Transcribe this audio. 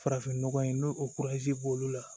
Farafin nɔgɔ in n'o o b'olu la